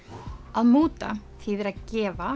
að múta þýðir að gefa